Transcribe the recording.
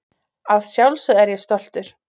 Að sjálfsögðu er ég stoltur.